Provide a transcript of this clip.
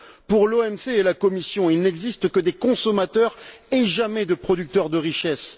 Pour l'OMC et la Commission, il n'existe que des consommateurs et jamais de producteurs de richesses.